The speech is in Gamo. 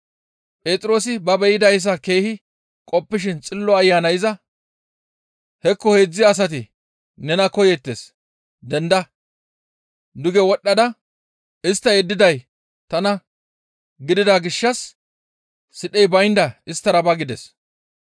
Phexroosi ba be7idayssa keehi qoppishin Xillo Ayanay iza, «Hekko heedzdzu asati nena koyeettes; denda! Duge wodhdhada istta yeddiday tana gidida gishshas sidhey baynda isttara ba» gides.